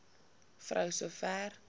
vrou so ver